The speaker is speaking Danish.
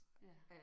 Ja